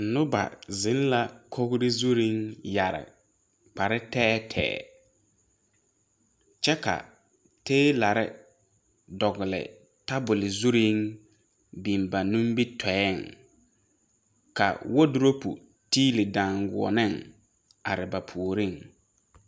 Noba zeŋ la kogre zurreŋ yɛre kpare tɛɛtɛɛ kyɛ ka teelarre dɔgle tabol zurreŋ biŋ ba nimitooeŋ ka wodurope tiili daaguoneŋ are ba puoriŋ.